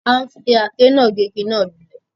A ń fi àáké náà gé igi náà lulẹ̀